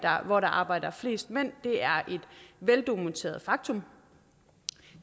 hvor der arbejder flest mænd er et veldokumenteret faktum